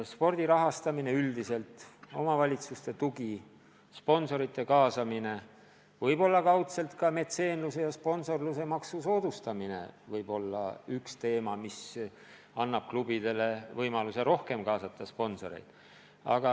Spordi rahastamine üldiselt, omavalitsuste tugi, sponsorite kaasamine, võib-olla kaudselt ka metseenluse ja sponsorluse maksu soodustamine võib olla üks võimalus, mis annab klubidele võimaluse rohkem kaasata sponsoreid.